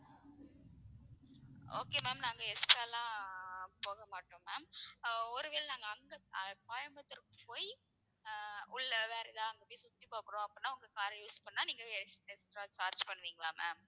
okay ma'am நாங்க extra லாம் போக மாட்டோம் ma'am ஆஹ் ஒரு வேளை நாங்க அங்க கோயம்புத்தூர்க்கு போய் ஆஹ் உள்ள வேற ஏதாவது அங்க சுத்தி பாக்குறோம் அப்படின்னா உங்க car ற use பண்ணுனா நீங்க extra charge பண்ணுவீங்களா ma'am?